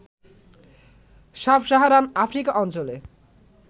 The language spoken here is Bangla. সাব-সাহারান আফ্রিকা অঞ্চলে